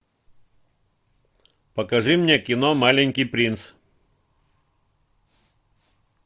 покажи мне кино маленький принц